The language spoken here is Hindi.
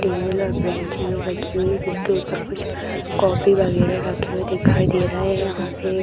टेबल और बेंचें रखी हुई है जिसके ऊपर कुछ कॉफी वगैरा रखे हुए दिखाई दे रहें हैं यहाँ पे एक --